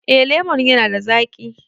Eh lemon ya na da zaƙi